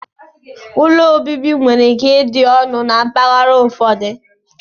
Úlọ obibi nwere ike ịdị ọnụ na mpaghara ụfọdụ.